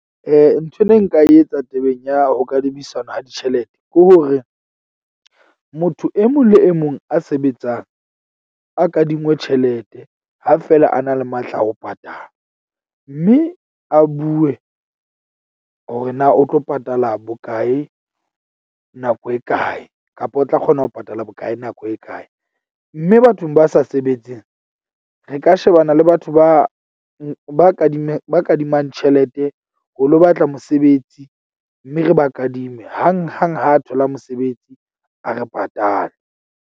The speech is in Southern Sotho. Nthwe ne nka e etsa tabeng ya ho kadimisano ha ditjhelete ke hore motho e mong le e mong a sebetsang a kadingwe tjhelete ha fela a na le matla a ho patala. Mme a bue hore na o tlo patala bokae, nako e kae kapa o tla kgona ho patala bokae, nako e kae. Mme bathong ba sa sebetseng re ka shebana le batho ba ba kadimmeng ba kadimang tjhelete ho lo batla mosebetsi. Mme re ba kadime hang hang, ha thola mosebetsi. A re patale.